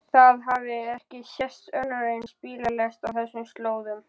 Það hafði ekki sést önnur eins bílalest á þessum slóðum.